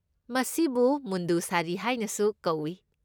ꯃꯁꯤꯕꯨ ꯃꯨꯟꯗꯨ ꯁꯥꯔꯤ ꯍꯥꯏꯅꯁꯨ ꯀꯧꯢ꯫